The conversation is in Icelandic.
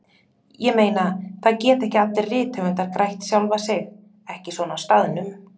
Ég meina, það geta ekki allir rithöfundar grætt sjálfa sig, ekki svona á staðnum.